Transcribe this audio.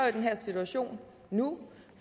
i den her situation nu